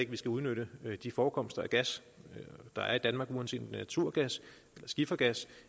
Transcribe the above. vi skal udnytte de forekomster af gas der er i danmark uanset naturgas eller skifergas